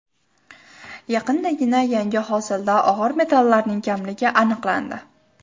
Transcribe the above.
Yaqindagina yangi hosilda og‘ir metallarning kamligi aniqlandi.